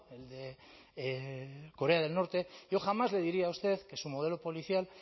el de corea del norte yo jamás le diría a usted que su modelo policial